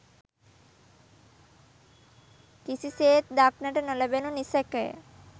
කිසිසේත් දක්නට නොලැබෙනු නිසැකය